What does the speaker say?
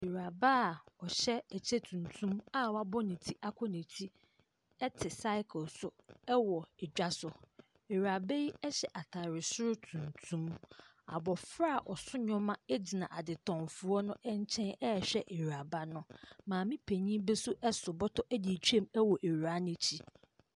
Awiuraba a ɔhyɛ ɛkyɛ tuntum a wabɔ ne ti akɔ n’akyi te cycle so wɔ dwa so. Awuraba yi hyɛ ataare soro tuntum. Abɔfra a ɔso nneɛma gyina adetɔnfoɔ no nkyɛn rehwɛ awuraba no. Maame penyin bi nso so bɔtɔ de retwem wɔ awuraa n’akyi.